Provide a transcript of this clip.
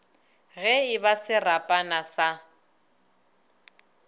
ge e ba serapana sa